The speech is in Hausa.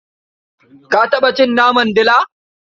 Ka taɓa cin naman dila?